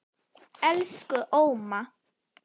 Elsku Óma.